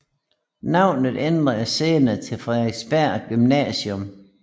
Navnet ændredes senere til Frederiksberg Gymnasium